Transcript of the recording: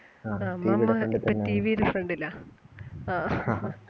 TV ഇല്ലാത്തത്